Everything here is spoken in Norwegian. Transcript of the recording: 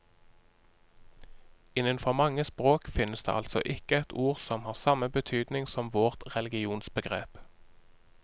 Innenfor mange språk finnes det altså ikke et ord som har samme betydning som vårt religionsbegrep.